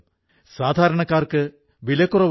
ഈ അവസരത്തിൽ ഞാൻ നിങ്ങളേവരെയും ekbharat